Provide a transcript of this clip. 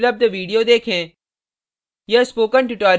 निम्न link पर उपलब्ध video देखें